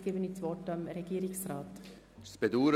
Nun erteile ich Regierungsrat Neuhaus das Wort.